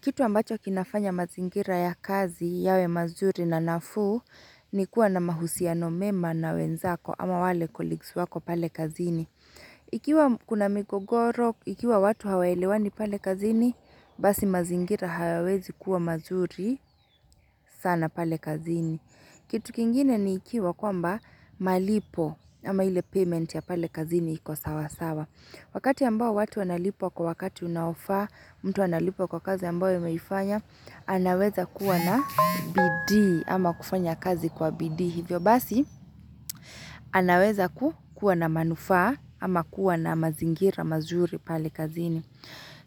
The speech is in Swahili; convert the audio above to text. Kitu ambacho kinafanya mazingira ya kazi yawe mazuri na nafuu ni kuwa na mahusiano mema na wenzako ama wale colleagues wako pale kazini. Ikiwa kuna migogoro, ikiwa watu hawaelewani pale kazini, basi mazingira hayawezi kuwa mazuri sana pale kazini. Kitu kingine ni ikiwa kwamba malipo ama ile payment ya pale kazini iko sawa sawa. Wakati ambao watu wanalipwa kwa wakati unaofaa, mtu analipwa kwa kazi ambayo ameifanya, anaweza kuwa na bidii ama kufanya kazi kwa bidii hivyo basi, anaweza kuwa na manufaa ama kuwa na mazingira mazuri pale kazini.